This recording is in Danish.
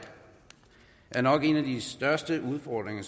er nok en af de største udfordringer